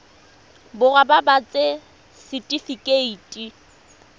borwa ba ba ts setifikeite